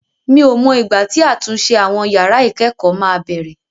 Mi ò mọ ìgbà tí àtúnṣe àwọn yàrá ìkẹ́kọ̀ọ́ máa bẹ̀rẹ̀.